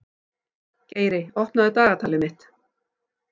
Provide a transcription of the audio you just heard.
Geiri, opnaðu dagatalið mitt.